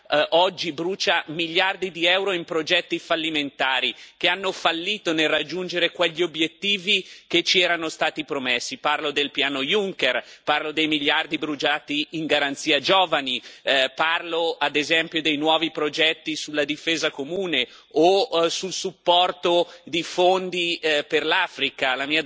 La realtà è che il bilancio dell'Unione europea oggi brucia miliardi di euro in progetti fallimentari, che hanno fallito nel raggiungere quegli obiettivi che ci erano stati promessi parlo del piano Juncker, parlo dei miliardi bruciati per la Garanzia per i giovani, parlo, ad esempio, dei nuovi progetti sulla difesa comune o sul supporto